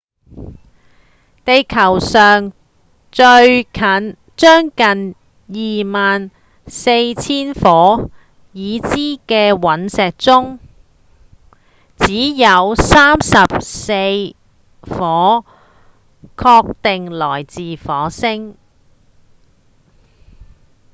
地球上將近兩萬四千顆已知的隕石中只有34顆確定來自火星